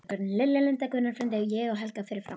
Lilja, Linda, Gunnar frændi, ég og Helga fyrir framan.